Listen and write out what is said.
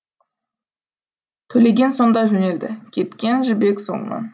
төлеген сонда жөнелді кеткен жібек соңынан